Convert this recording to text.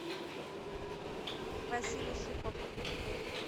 василий шихов